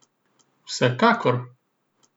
Vsekakor!